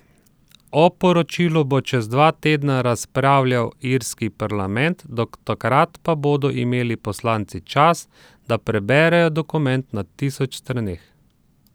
O poročilu bo čez dva tedna razpravljal irski parlament, do takrat pa bodo imeli poslanci čas, da preberejo dokument na tisoč straneh.